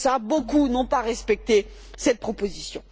Beaucoup n'ont pas respecté cette proposition.